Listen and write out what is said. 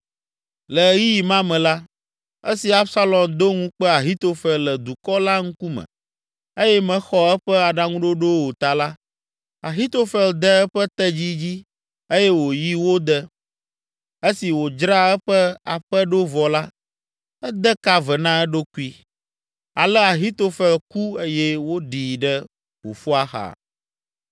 Le ɣeyiɣi ma me la, esi Absalom do ŋukpe Ahitofel le dukɔ la ŋkume eye mexɔ eƒe aɖaŋuɖoɖo o ta la, Ahitofel de eƒe tedzi dzi eye wòyi wo de. Esi wòdzra eƒe aƒe ɖo vɔ la, ede ka ve na eɖokui. Ale Ahitofel ku eye woɖii ɖe fofoa xa.